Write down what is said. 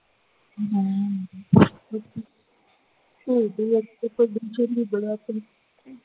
ਬੜਾ